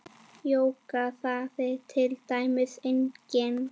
Jóga þýðir til dæmis eining.